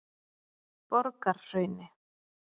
Borgarhrauni